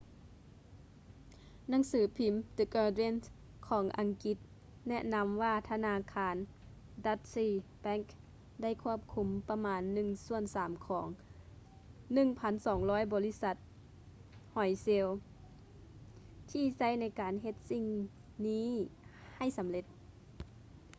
ໜັງສືພິມ the guardian ຂອງອັງກິດແນະນຳວ່າທະນາຄານ deutsche bank ໄດ້ຄວບຄຸມປະມານໜຶ່ງສ່ວນສາມຂອງ 1200 ບໍລິສັດຫອຍເຊລ ທີ່ໃຊ້ໃນການເຮັດສິ່ງນີ້ໃຫ້ສຳເລັດ